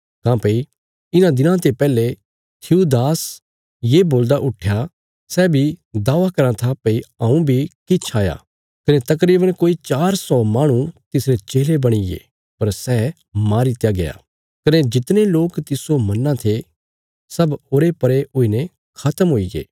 काँह्भई इन्हां दिनां ते पैहले थियूदास ये बोलदा उट्ठया सै बी दावा कराँ था भई हऊँ बी किछ हया कने तकरीवन कोई चार सौ माहणु तिसरे चेले बणिगे पर सै मारीत्या गया कने जितने लोक तिस्सो मन्नां थे सब उरेपरे हुईने खत्म हुईगे